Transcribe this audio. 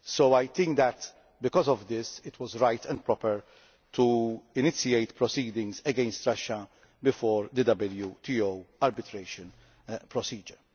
So I think that, because of this, it was right and proper to initiate proceedings against Russia through the WTO arbitration procedure.